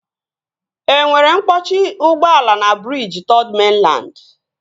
E nwere mkpọchi ụgbọala na briji Third Mainland?